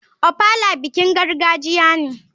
Ofala bikin gargajiya ne.